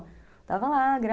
Estava lá, gra...